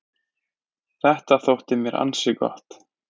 Þetta þótti mér ansi gott.